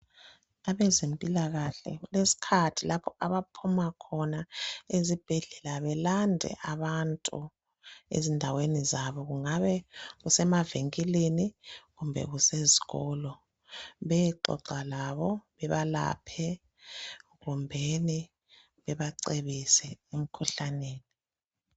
Abezibhedlela ukulezikhathi lapha abasuka khona ezibhedlela besilanda ezindaweni zethu kungabe kusemavenkilini kumbe kusezikolo beyexoxa lathi besilaphe njalo besibise ngemikhuhlane